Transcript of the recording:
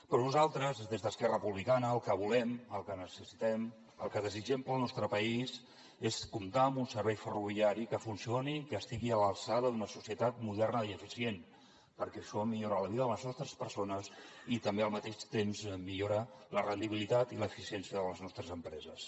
però nosaltres des d’esquerra republicana el que volem el que necessitem el que desitgem pel nostre país és comptar amb un servei ferroviari que funcioni que estigui a l’alçada d’una societat moderna i eficient perquè això millora la vida de les nostres persones i també al mateix temps millora la rendibilitat i l’eficiència de les empreses